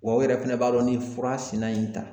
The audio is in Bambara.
Wa u yɛrɛ fɛnɛ b'a dɔn ni fura sina in ta